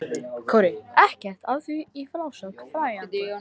Ekkert af því er í frásögur færandi.